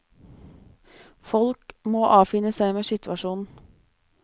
Folk må avfinne seg med situasjonen.